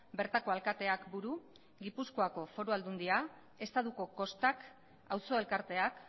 bertako alkateak buru gipuzkoako foru aldundia estatuko kostak auzo elkarteak